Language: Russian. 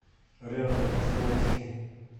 рядом островский